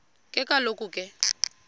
ke kaloku ke